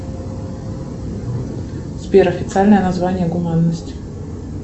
сбер официальное название гуманность